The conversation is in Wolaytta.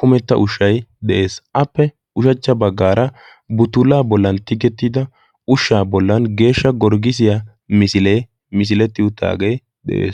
kumetta ushshai de7ees. appe ushachcha baggaara butulaa bollan tiggettida ushshaa bollan geeshsha gorggisiyaa misilee misiletti uttaagee de7ees.